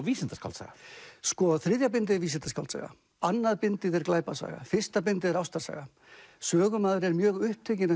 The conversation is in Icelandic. vísindaskáldsaga sko þriðja bindið er vísindaskáldsaga annað bindið er glæpasaga fyrsta bindið er ástarsaga sögumaður er mjög upptekinn af